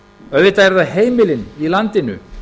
auðvitað eru það heimilin í landinu